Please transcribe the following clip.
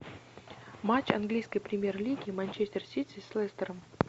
матч английской премьер лиги манчестер сити с лестером